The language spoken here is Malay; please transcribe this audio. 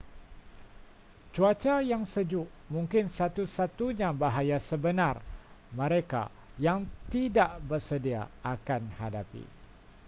cuaca yang sejuk mungkin satu-satunya bahaya sebenar mereka yang tidak bersedia akan hadapi